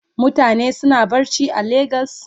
Mutane suna barci a lagos?